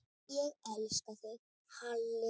Ég elska þig, Halli afi.